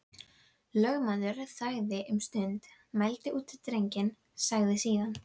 Lögmaður þagði um stund, mældi út drenginn, sagði síðan